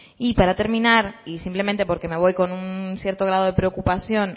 y para terminar y simplemente porque me voy con un cierto grado de preocupación